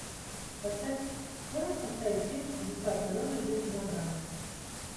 поставь можешь поставить фильм чудеса природы жизнь на грани